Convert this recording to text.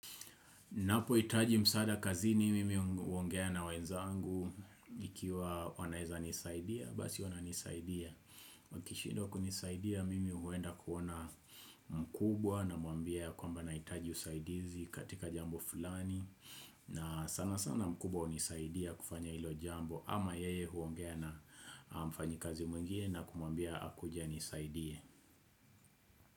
Napo hitaji msaada kazi ni mimi huongea na wenzangu nikiwa wanaweza nisaidia. Basi wana nisaidia. Wakishidwa kunisaidia mimi huenda kuona mkubwa na mwambia kwa mba na hitaji usaidizi katika jambo fulani. Na sana sana mkubwa hunisaidia kufanya ilo jambo. Ama yeye huongea na mfanyi kazi mwingine na kumambia akujia anisaidie.